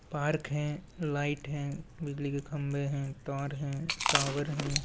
Park है light है बिजली के खंभे है तार है टावर है ।